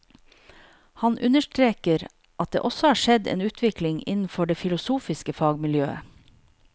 Han understreker at det også har skjedd en utvikling innenfor det filosofiske fagmiljøet.